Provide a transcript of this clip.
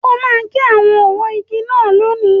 O máa gé àwọn ọwọ́ igi náà lónìí.